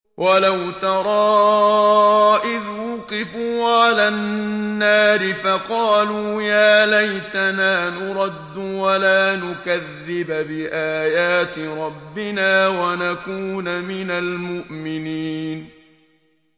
وَلَوْ تَرَىٰ إِذْ وُقِفُوا عَلَى النَّارِ فَقَالُوا يَا لَيْتَنَا نُرَدُّ وَلَا نُكَذِّبَ بِآيَاتِ رَبِّنَا وَنَكُونَ مِنَ الْمُؤْمِنِينَ